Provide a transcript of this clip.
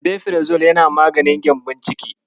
Rabefirazole yana maganin gembon ciki.